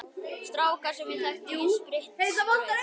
Strákur sem ég þekki setti spritt í brauð.